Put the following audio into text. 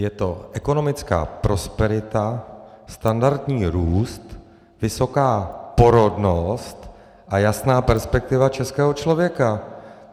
Je to ekonomická prosperita, standardní růst, vysoká porodnost a jasná perspektiva českého člověka.